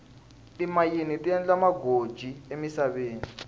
timayini ti endla magoji emisaveni